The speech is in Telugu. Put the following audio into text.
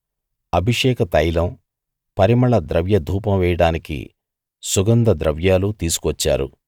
అభిషేక తైలం పరిమళ ద్రవ్య ధూపం వేయడానికి సుగంధ ద్రవ్యాలు తీసుకువచ్చారు